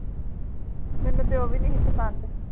ਮੈਨੂੰ ਤੇ ਉਹ ਵੀ ਨੀ ਸੀ ਪਸੰਦ